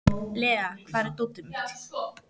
Lea, hvar er dótið mitt?